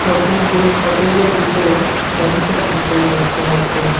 Showcase শোকেজের ভিতরে সেন্টের বুতল দেখতে পাচ্ছি।